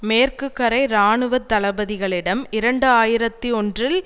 மேற்கு கரை இராணுவ தளபதிகளிடம் இரண்டு ஆயிரத்தி ஒன்றில்